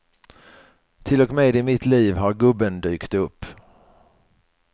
Till och med i mitt liv har gubben dykt upp.